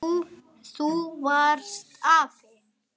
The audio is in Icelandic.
Þú varst afi.